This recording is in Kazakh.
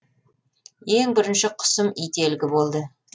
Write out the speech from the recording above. ең бірінші құсым ителгі болды